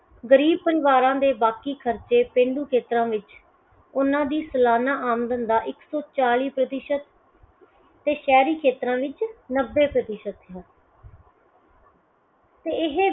ਗਰੀਬ ਪਰਿਵਾਰਾਂ ਦੇ ਬਾਕੀ ਖਰਚੇ ਪੇਂਡੂ ਖੇਤਰਾਂ ਵਿੱਚ ਉਹਨਾਂ ਦੀ ਸਲਾਨਾ ਆਮਦਨ ਦਾ ਇੱਕ ਸੌ ਚਾਲੀ ਪ੍ਰਤੀਸ਼ਤ ਤੇ ਸ਼ਹਿਰੀ ਖੇਤਰਾਂ ਵਿੱਚ ਨੱਬੇ ਪ੍ਰਤੀਸ਼ਤ ਹੈ